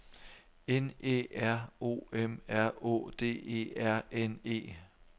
N Æ R O M R Å D E R N E